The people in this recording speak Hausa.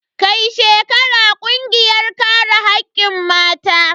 Kai shi kara kungiyar kare hakkin mata.